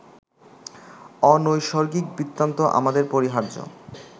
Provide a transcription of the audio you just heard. অনৈসর্গিক বৃত্তান্ত আমাদের পরিহার্য